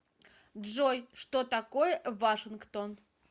джой что такое вашингтон